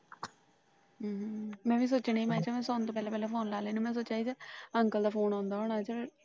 ਹੂ ਮੈ ਵੀ ਸੋਚਿਆ ਮੈ ਕਿਹਾ ਸੌਣ ਤੋਂ ਪਹਿਲਾ ਪਹਿਲਾ Phone ਲਾ ਲਵਾ ਨਹੀਂ ਤੇ ਕਹੇਗਾ Uncle ਦਾ Phone ਆਉਂਦਾ ਹੋਣਾ।